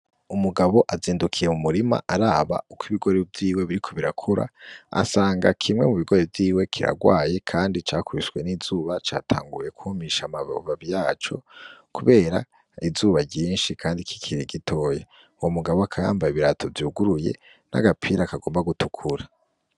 Umugabo azindukiye mu murima araba uk'ibigori vyiwe biriko birakura, asanga kimwe mu bigori vyiwe kirarwaye kandi cakubiswe n'izuba catanguye kwumisha amababi yaco, kubera izuba ryinshi kandi kikiri gitoya uwo mugabo akaba yambaye ibirato vyuguruye n'agapira kagomba gutukura.